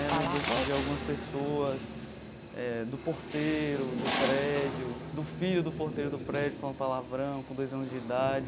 Lembranças de algumas pessoas, eh do porteiro do prédio, do filho do porteiro do prédio falando palavrão com dois anos de idade.